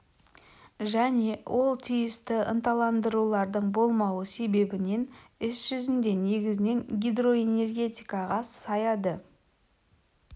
және ол тиісті ынталандырулардың болмауы себебінен іс жүзінде негізінен гидроэнергетикаға саяды